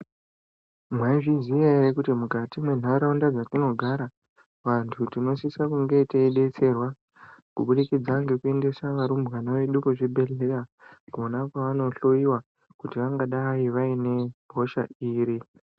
Mwai zviziya ere kuti mukati me ndaraunda dza tinogara vantu tinosisa kunge tei detserwa kubudikidza ngeku endesa varumbwana vedu ku zvibhedhleya kona kwavano hloyiwa kuti vangadai vaine hosha iri.